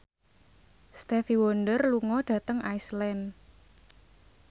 Stevie Wonder lunga dhateng Iceland